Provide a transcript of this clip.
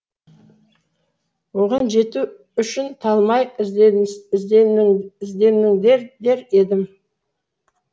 оған жету үшін талмай ізденіңдер дер едім